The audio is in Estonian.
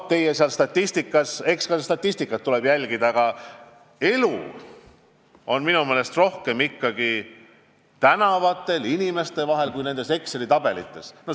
Mis puutub statistikasse, siis eks seda tuleb jälgida, aga elu on minu meelest rohkem ikkagi tänavatel, inimeste vahel ja mitte Exceli tabelites.